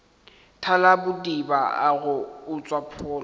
thalabodiba a go utswa pholo